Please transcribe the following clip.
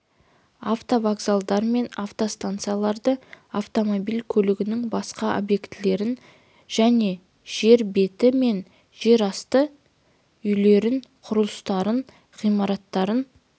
автовокзалдар мен автостанцияларды автомобиль көлігінің басқа объектілерін және жер беті мен жерасты үйлерін құрылыстарын ғимараттарын